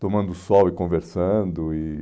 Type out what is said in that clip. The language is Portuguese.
tomando sol e conversando. E